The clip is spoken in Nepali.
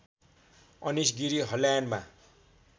अनिश गिरी हल्यान्डमा